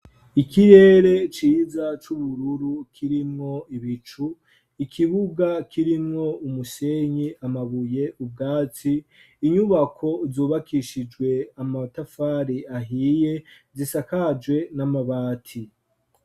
ikirere ciza c'ubururu kirimwo ibicu, ikibuga kirimwo umusenyi, amabuye, ubwatsi, inyubako zubakishijwe amatafari ahiye zisakajwe n'amabati.